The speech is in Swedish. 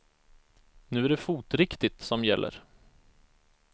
Nu är det fotriktigt som gäller.